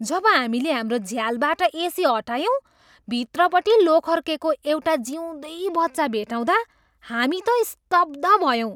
जब हामीले हाम्रो झ्यालबाट एसी हटायौँ, भित्रपट्टि लोखर्केको एउटा जिउँदै बच्चा भेट्टाउँदा हामी त स्तब्ध भयौँ।